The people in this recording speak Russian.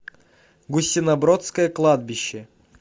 гусинобродское кладбище